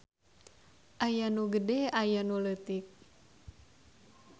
Aya nu gede ayanu leutik.